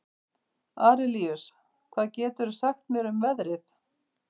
Arilíus, hvað geturðu sagt mér um veðrið?